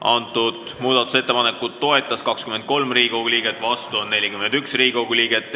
Hääletustulemused Seda muudatusettepanekut toetas 23 ja vastu on 41 Riigikogu liiget.